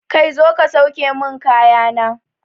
Kai zo ka sauke mun kaya na!